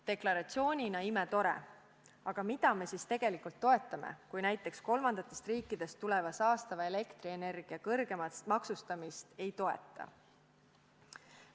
Deklaratsioonina on see imetore, aga mida me siis tegelikult toetame, kui me näiteks kolmandatest riikidest tuleva saastava elektrienergia kõrgemat maksustamist ei toeta?